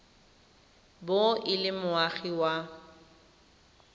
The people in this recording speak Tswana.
bo e le moagi wa